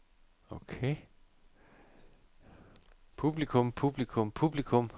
publikum publikum publikum